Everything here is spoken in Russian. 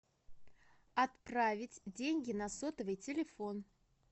отправить деньги на сотовый телефон